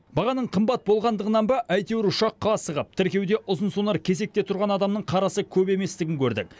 бағаның қымбат болғандығынан ба әйтеуір ұшаққа асығып тіркеуде ұзынсонар кезекте тұрған адамның қарасы көп еместігін көрдік